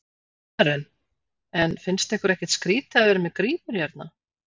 Karen: En finnst ykkur ekkert skrítið að vera með grímur hérna?